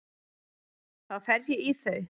Þá fer ég í þau.